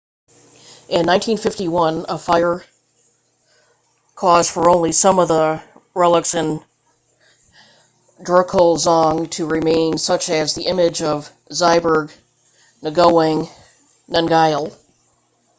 in 1951 a fire caused for only some of the relics of the drukgyal dzong to remain such as the image of zhabdrung ngawang namgyal